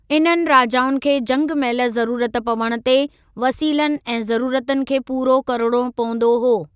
इन्हनि राजाउनि खे जंग महिल ज़रूरत पवण ते वसीलनि ऐं ज़रूरतुनि खे पूरो करिणो पवंदो हो।